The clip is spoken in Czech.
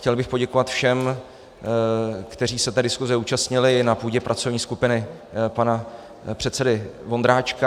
Chtěl bych poděkovat všem, kteří se té diskuse účastnili na půdě pracovní skupiny pana předsedy Vondráčka.